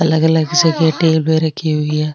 अलग अलग जगह पर उग रखी हुई है।